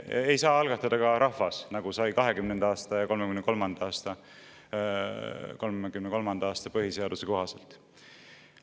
Ei saa algatada ka rahvas, nagu sai 1920. aasta ja 1933. aasta põhiseaduse kohaselt.